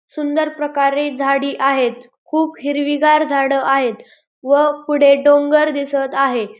सुंदर प्रकारे झाडी आहेत खूप हिरवीगार झाड आहेत व पुढे डोंगर दिसत आहे.